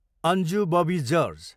Anju Bobby George